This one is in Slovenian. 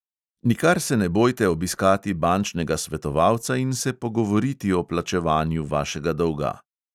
Nikar se ne bojte obiskati bančnega svetovalca in se pogovoriti o plačevanju vašega dolga.